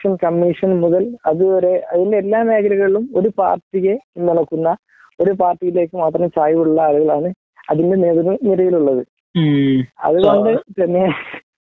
commission മുതൽ അതുവരെ അതിൽ എല്ലാ മേഖലകളിലും ഒരു പാർട്ടിയെ നോക്കുന്ന ഒരു പാർട്ടിയിലേക്ക് മാത്രം ചായിവുള്ള ആളുകളാണ് അതിന്റെ നേതൃ നിരയിലുള്ളത് അത് കൊണ്ട് തന്നെ